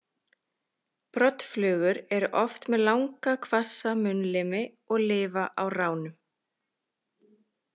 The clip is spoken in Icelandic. Broddflugur eru oft með langa hvassa munnlimi og lifa á ránum.